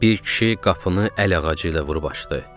Bir kişi qapını əl ağacı ilə vurub açdı.